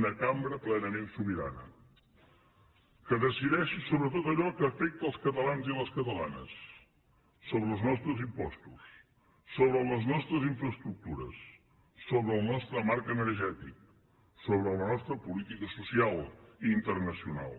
una cambra plenament sobirana que decideixi sobre tot allò que afecta els catalans i les catalanes sobre els nostres impostos sobre les nostres infraestructures sobre el nostre marc energètic sobre la nostra política social i internacional